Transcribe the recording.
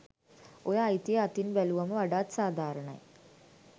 ඔය අයිතිය අතින් බැලුවම වඩාත් සාධාරණයි.